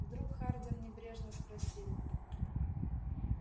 вдруг хардин небрежно спросил